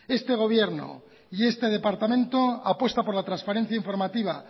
este gobierno y este departamento apuesta por la transparencia informativa